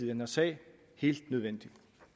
den her sag helt nødvendig